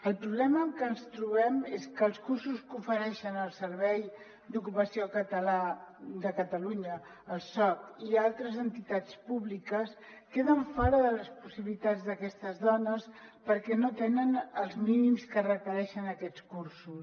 el problema amb què ens trobem és que els cursos que ofereixen el servei d’ocu·pació de catalunya el soc i altres entitats públiques queden fora de les possibi·litats d’aquestes dones perquè no tenen els mínims que requereixen aquests cur·sos